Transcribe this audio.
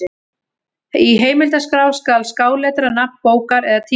Í heimildaskrá skal skáletra nafn bókar eða tímarits.